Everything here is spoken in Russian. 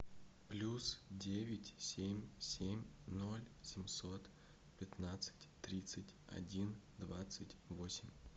плюс девять семь семь ноль семьсот пятнадцать тридцать один двадцать восемь